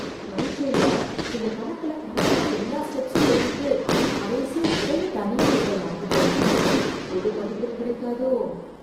பரிட்சைல, இந்த கணக்குல கரெக்ட்டா எல்லா ஸ்டெப்ஸும் எழுதிட்டு, கடைசியா விடையை தனியா எழுத மறந்துட்டேனே... முழு மதிப்பெண் கிடைக்காதோ..